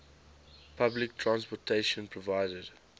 public transportation provided